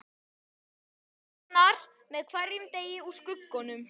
Það tognar með hverjum degi úr skuggunum.